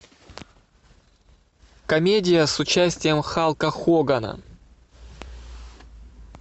комедия с участием халка хогана